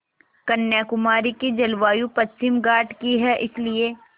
कन्याकुमारी की जलवायु पश्चिमी घाट की है इसलिए